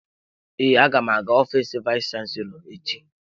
Ee, aga m aga ofiisi vayis chansilọ echi.